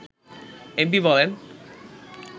MP বলেন